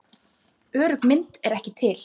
Örugg mynd er ekki til.